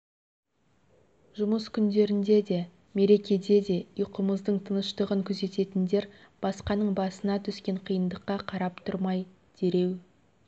жұмыс күндерінде де мерекеде де ұйқымыздың тыныштығын күзететіндер басқаның басына түскен қиындыққа қарап түрмай дереу